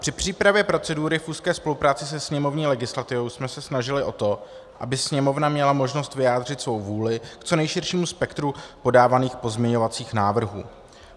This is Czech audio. Při přípravě procedury v úzké spolupráci se sněmovní legislativou jsme se snažili o to, aby Sněmovna měla možnost vyjádřit svou vůli k co nejširším spektru podávaných pozměňovacích návrhů.